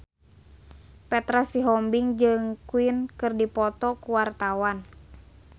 Petra Sihombing jeung Queen keur dipoto ku wartawan